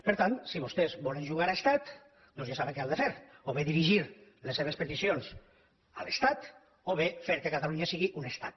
per tant si vostès volen jugar a estat doncs ja saben què han de fer o bé dirigir les seves peticions a l’estat o bé fer que catalunya sigui un estat